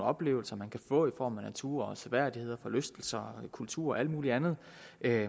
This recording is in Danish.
oplevelser man kan få i form af natur seværdigheder forlystelser kultur og alt muligt andet